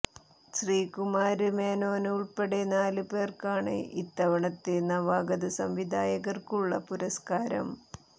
ശ്രീകുമാര് മേനോന് ഉള്പ്പെടെ നാല് പേര്ക്കാണ് ഇത്തവണത്തെ നവാഗത സംവിധായകര്ക്കുള്ള പുരസ്കാരം